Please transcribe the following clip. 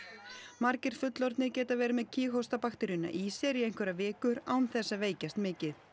margir fullorðnir geti verið með í sér í einhverjar vikur án þess að veikjast mikið